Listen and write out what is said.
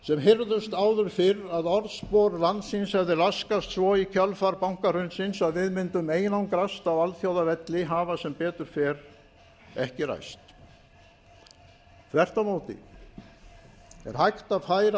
sem heyrðust áður fyrr að orðspor landsins hefði laskast svo í kjölfar bankahrunsins að við mundum einangrast á alþjóðavelli hafa sem betur fer ekki ræst þvert á móti er hægt að